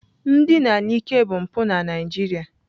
Ndina n'ike bụ mpụ na nigeria.